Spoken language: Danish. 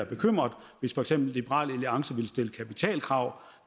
bekymret hvis for eksempel liberal alliance vil stille kapitalkrav